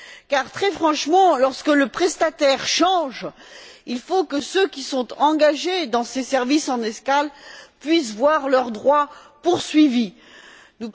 Car, très franchement, lorsque le prestataire change, il faut que ceux qui sont engagés dans ces services en escale puissent voir leurs droits maintenus.